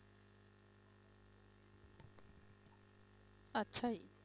ਅੱਛਾ ਜੀ।